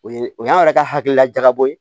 O ye o y'an yɛrɛ ka hakilila jagabɔ ye